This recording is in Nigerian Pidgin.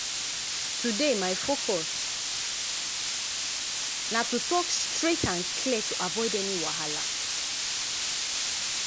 today my focus na to talk straight and clear to avoid any wahala.